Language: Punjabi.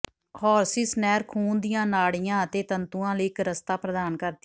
ਹੌਰਸਿਸ ਨਹਿਰ ਖੂਨ ਦੀਆਂ ਨਾੜੀਆਂ ਅਤੇ ਤੰਤੂਆਂ ਲਈ ਇੱਕ ਰਸਤਾ ਪ੍ਰਦਾਨ ਕਰਦੀ ਹੈ